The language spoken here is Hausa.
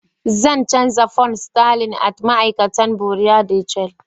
Zan chanza pounds sterling at ma'aikata Buerea de change.